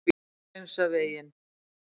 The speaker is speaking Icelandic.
Búið er að hreinsa veginn.